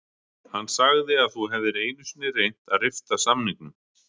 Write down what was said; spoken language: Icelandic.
Hann sagði að þú hefðir einu sinni reynt að rifta samningnum